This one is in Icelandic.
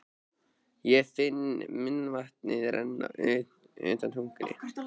Ég finn munnvatnið renna undan tungunni.